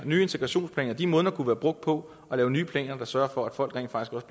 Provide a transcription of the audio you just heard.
nye integrationsplaner de måneder kunne være brugt på at lave nye planer der sørger for at folk rent faktisk